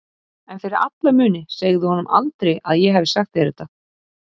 En fyrir alla muni segðu honum aldrei að ég hafi sagt þér þetta.